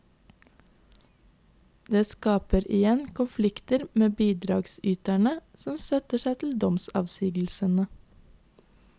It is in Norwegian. Det skaper igjen konflikter med bidragsyterne, som støtter seg til domsavsigelsene.